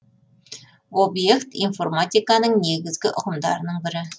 обьект информатиканың негізгі ұғымдарының бірі